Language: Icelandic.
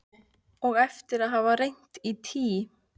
Og eftir að hafa reynt í tí